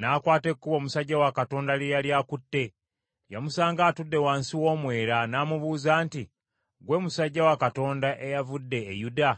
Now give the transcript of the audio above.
n’akwata ekkubo omusajja wa Katonda lye yali akutte. Yamusanga atudde wansi w’omwera, n’amubuuza nti, “Gwe musajja wa Katonda eyavudde e Yuda?”